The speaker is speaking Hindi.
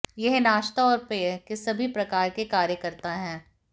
यह नाश्ता और पेय के सभी प्रकार के कार्य करता है